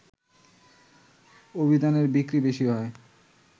অভিধানের বিক্রি বেশি হয়